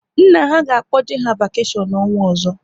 Nna ha ga-akpoje ha vakeshion n'ọnwa ọzọ